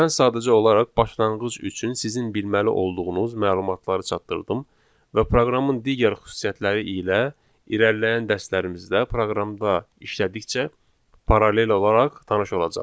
Mən sadəcə olaraq başlanğıc üçün sizin bilməli olduğunuz məlumatları çatdırdım və proqramın digər xüsusiyyətləri ilə irəliləyən dərslərimizdə proqramda işlədikcə paralel olaraq tanış olacaqsınız.